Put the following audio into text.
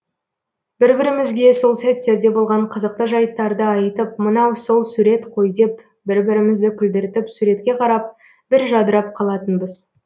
бір бірімізге сол сәттерде болған қызықты жайттарды айтып мынау сол сурет қой деп бір бірімізді күлдіртіп суретке қарап бір жадырап қалатынбыз